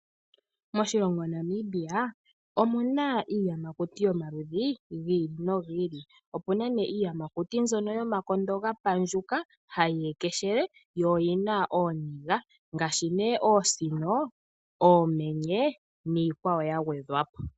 Moshilongo Namibia omuna iiyamakuti yomaludhi gi ili nogi ili, opu na ne iiyamakuti mbyoka yomakondo ga pandjuka hayi ekeshele yo oyina ooniga ngashi ne oosino, oomenye niikwawo ya gwedhwa po.